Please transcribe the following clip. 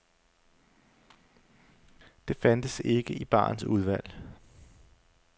Det fandtes ikke i barens udvalg.